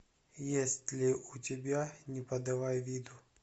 есть ли у тебя не подавай виду